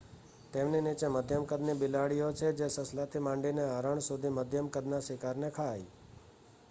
તેમની નીચે મધ્યમ કદની બિલાડીઓ છે જે સસલાથી માંડીને હરણ સુધીમધ્યમ કદના શિકારને ખાય